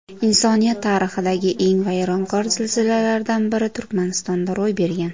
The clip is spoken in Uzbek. Insoniyat tarixidagi eng vayronkor zilzilalardan biri Turkmanistonda ro‘y bergan.